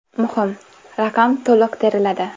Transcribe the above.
Muhim: raqam to‘liq teriladi.